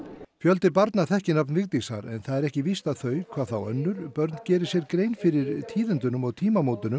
fjöldi barna þekkir nafn Vigdísar en það er ekki víst að þau hvað þá önnur börn geri sér grein fyrir tíðindunum og tímamótunum